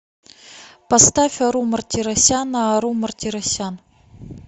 поставь ару мартиросяна ару мартиросян